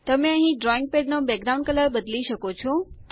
તમે અહીં ડ્રોઈંગ પેડનો બેકગ્રાઉન્ડ કલર બદલી શકો છો